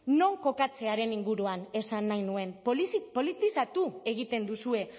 non kokatzearen inguruan esan nahi nuen politizatu egiten duzue